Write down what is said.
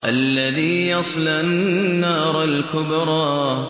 الَّذِي يَصْلَى النَّارَ الْكُبْرَىٰ